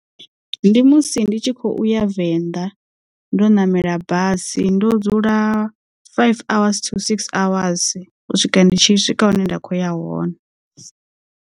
Ndi musi ndi tshi khou ya venḓa ndo namela basi ndo dzula five hours to six hours u swika ndi tshi swika hune nda kho ya hone.